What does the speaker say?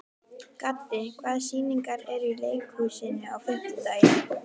Gaddi, hvaða sýningar eru í leikhúsinu á fimmtudaginn?